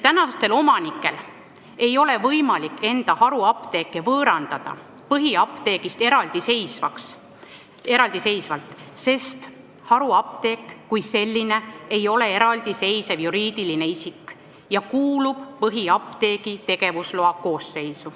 Tänastel omanikel ei ole võimalik enda haruapteeke võõrandada põhiapteegist eraldiseisvalt, sest haruapteek kui selline ei ole eraldiseisev juriidiline isik ja kuulub põhiapteegi tegevusloa alla.